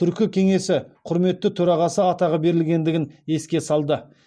түркі кеңесі құрметті төрағасы атағы берілгендігін еске салды